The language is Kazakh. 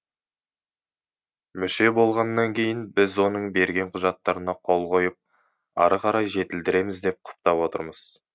мүше болғаннан кейін біз оның берген құжаттарына қол қойып ары қарай жетілдіреміз деп құптап отырмыз